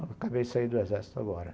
Acabei de sair do exército agora.